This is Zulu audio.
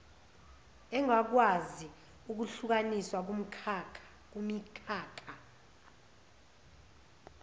engakwazi ukuhlukaniswa kumikhakha